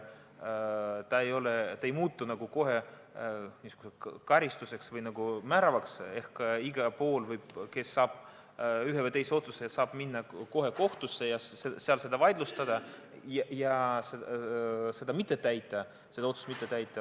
See ei muutu nagu kohe karistuseks või määravaks ehk kui kellegi kohta tehakse üks või teine otsus, siis võib minna kohtusse, seal selle vaidlustada ja seda otsust mitte täita.